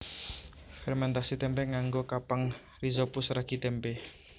Fèrmèntasi témpé nganggo kapang rhizopus ragi témpé